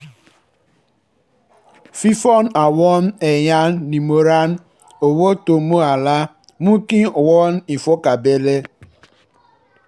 fífún àwọn èèyàn nímọ̀ràn owó tó mọ ààlà mú kí wọ́n ní ìfọ̀kànbalẹ̀